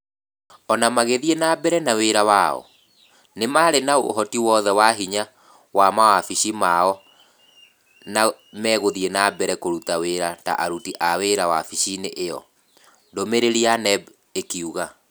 O na magĩthiĩ na mbere na wĩra wao, nĩ marĩ na ũhoti wothe wa hĩnya wa mawabici mao na megũthiĩ na mbere kũruta wĩra ta aruti wĩra a wabici ĩo, "ndũmĩrĩri ya NEB ĩkiuga.